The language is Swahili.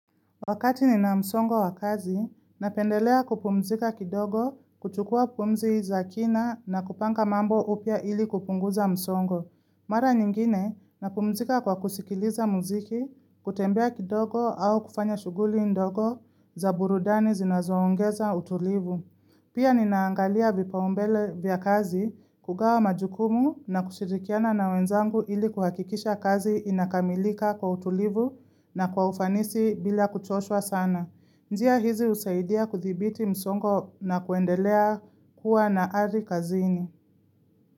Wakati nina msongo wa kazi, napendelea kupumzika kidogo kuchukua pumzi za kina na kupanga mambo upya ili kupunguza msongo. Mara nyingine, napumzika kwa kusikiliza muziki, kutembea kidogo au kufanya shughuli ndogo za burudani zinazoongeza utulivu. Pia ninaangalia vipaumbele vya kazi kugawa majukumu na kushirikiana na wenzangu ili kuhakikisha kazi inakamilika kwa utulivu na kwa ufanisi bila kuchoshwa sana. Njia hizi husaidia kudhibiti msongo na kuendelea kuwa na ari kazini.